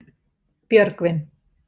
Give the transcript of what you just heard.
Björgvin